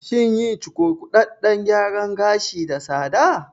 Shin yin cukurkuɗaɗɗen gyaran gashi da tsada?